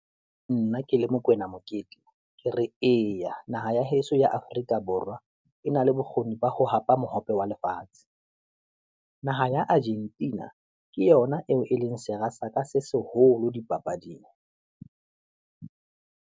Nna ke le Mokoena Mokete ke re eya naha ya heso ya Afrika Borwa, e na le bokgoni ba ho hapa mohope wa lefatshe. Naha ya Argentina ke yona eo e leng sera sa ka se seholo dipapading.